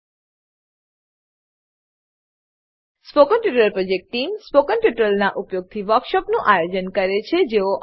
spoken tutorial project team spoken ટ્યુટોરીયલોનાં ઉપયોગથી વર્કશોપોનું આયોજન કરે છે